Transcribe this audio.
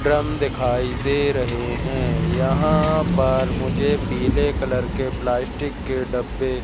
Drum दिखाई दे रहे हैं। यहां पर मुझे पीले कलर के प्लास्टिक के डब्बे--